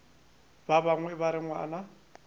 ba bangwe ba re ngwana